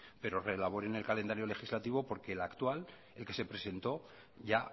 pero reelaboren el calendario legislativo porque el actual el que se presentó ya